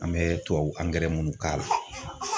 An bɛ tubabu angɛrɛ munnu k'a la